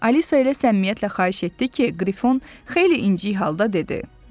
Alisa ilə səmimiyyətlə xahiş etdi ki, Qrifon xeyli inci halda dedi: